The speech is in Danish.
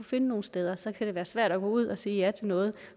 finde nogen steder og så kan det være svært at gå ud at sige ja til noget